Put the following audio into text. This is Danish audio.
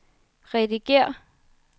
redigér